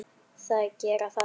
Þær gera það ekki.